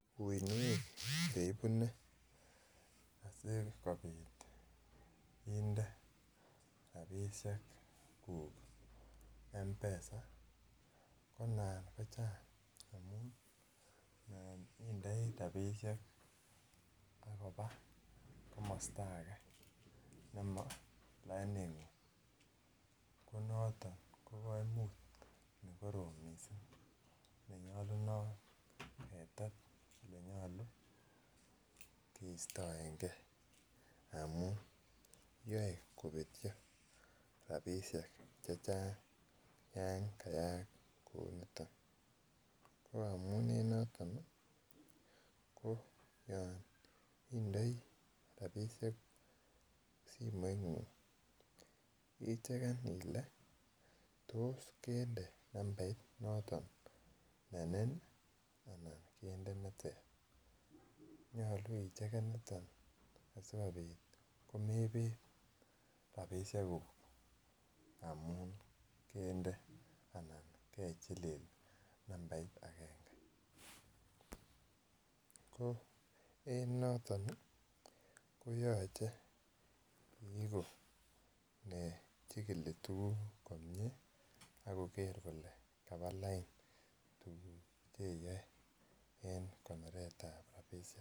Uinwek che ibune sikobit inde rabisiekuk m-pesa konan kochang amun indoi rabisiek agoba komostage nemo lainingung konoton kokoimut nekorom mising nenyolunot ketet nenyolu keistoengen amun yoe kobetyo rabisiek chechang yan kayaak kouniton ko amun eng noton iih ko yon indoi rabisiek simoingung icheken Ile tos kinde numbait noton ne nin anan kende neter nyolu icheken niton asikobit mebet rabisiekuk amun kende anan kechilil numbait agenge ko eng noton iih koyoche iigu ne jikili tukuk komie akoker kole kaba lain tukuk che iyoe eng konoretab rabisiek.